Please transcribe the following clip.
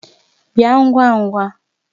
Bia ngwa ngwa!